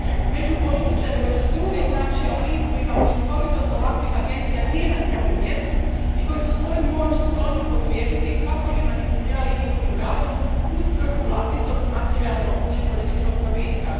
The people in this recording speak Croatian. Među političarima će se uvijek naći oni kojima učinkovitost ovakvih agencija nije na prvom mjestu i koji su svoju moć skloni upotrijebiti kako bi manipulirali njihovim radom u svrhu vlastitog materijalnog ili političkog probitka.